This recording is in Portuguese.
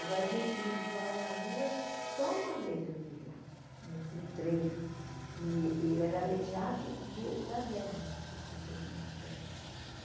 Agora, gente pedindo esmola na rua, só uma vez eu vi lá, no no trem, e ele era aleijado de da guerra, porque ele tinha perdido uma perna.